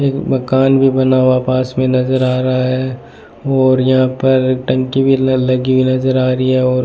मकान भी बना हुआ पास में नजर आ रहा है और यहां पर टंकी भी लगी नजर आ रही है और--